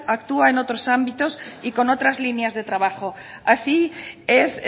actúa en otros ámbitos y con otras líneas de trabajo así es